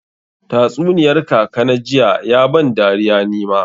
Tatsuniyar kaka na jiya ya ban dariya ni ma.